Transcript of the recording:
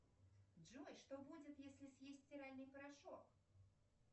джой что будет если съесть стиральный порошок